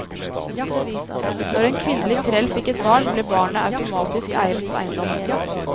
Når en kvinnelig trell fikk et barn, ble barnet automatisk eierens eiendom.